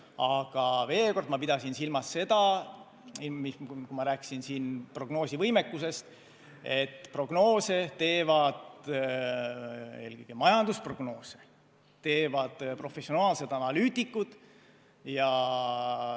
Aga veel kord: ma pidasin silmas seda, kui ma rääkisin prognoosivõimekusest, et prognoose, eelkõige majandusprognoose teevad professionaalsed analüütikud.